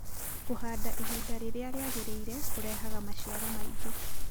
Kũhanda ihinda rĩrĩa rĩagĩrĩire kũrehaga maciaro maingĩ.